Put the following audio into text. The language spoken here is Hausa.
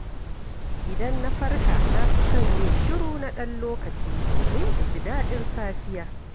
Idan na farka, na fi son yin shiru na ɗan lokaci domin in ji daɗin safiya.